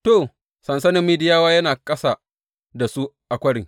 To, sansanin Midiyawa yana ƙasa da su a kwarin.